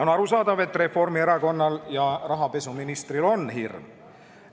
On arusaadav, et Reformierakonnal ja rahapesuministril on hirm.